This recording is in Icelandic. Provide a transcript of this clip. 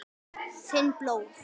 Finn blóð.